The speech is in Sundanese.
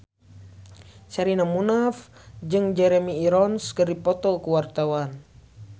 Sherina Munaf jeung Jeremy Irons keur dipoto ku wartawan